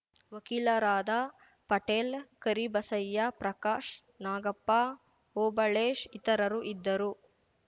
ವಕೀಲರಾದ ಪಟೇಲ್‌ ಕರಿಬಸಯ್ಯ ಪ್ರಕಾಶ್‌ ನಾಗಪ್ಪ ಓಬಳೇಶ್‌ ಇತರರು ಇದ್ದರು